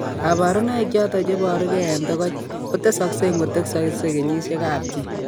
Kabarunaik choton chebore gee en togoch ko tesaksei ingotesaksei kenyisiek ab chii